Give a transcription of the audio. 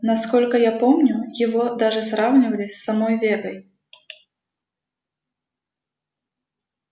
насколько я помню его даже сравнивали с самой вегой